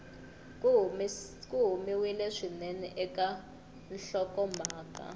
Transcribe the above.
ku humiwile swinene eka nhlokomhaka